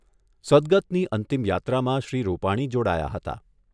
સદગતની અંતિમ યાત્રામાં શ્રી રૂપાણી જોડાયા હતા.